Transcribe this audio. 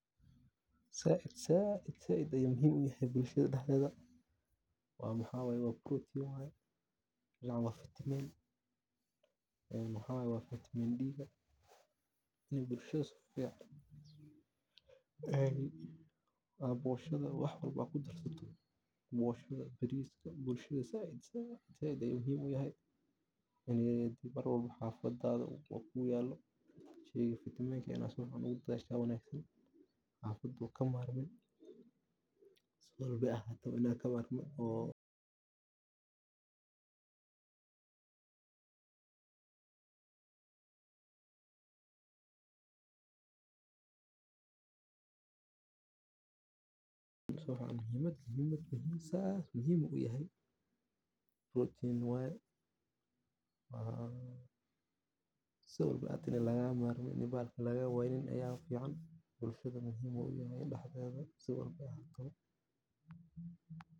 Zaid ayey muhim u yihin bulshada dexdeda taasoo yareynaysa nabaad-guurka. Wacyigelinta bulshada, gaar ahaan dhallinyarada iyo beeraleyda, ayaa muhiim u ah ilaalinta deegaanka, iyadoo lagu barayo sida loo isticmaalo kheyraadka si waara . Sidaa darteed, ilaalinta deegaanka waa maalgashi waara oo loogu daneynayo jiilasha maanta iyo kuwa mustaqbalka.